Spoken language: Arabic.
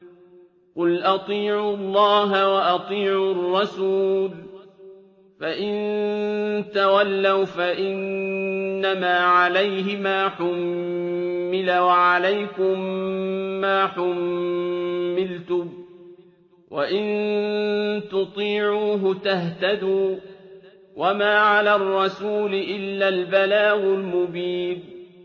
قُلْ أَطِيعُوا اللَّهَ وَأَطِيعُوا الرَّسُولَ ۖ فَإِن تَوَلَّوْا فَإِنَّمَا عَلَيْهِ مَا حُمِّلَ وَعَلَيْكُم مَّا حُمِّلْتُمْ ۖ وَإِن تُطِيعُوهُ تَهْتَدُوا ۚ وَمَا عَلَى الرَّسُولِ إِلَّا الْبَلَاغُ الْمُبِينُ